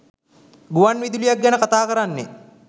ගුවන් විදුලියක් ගැන කතාකරන්නේ.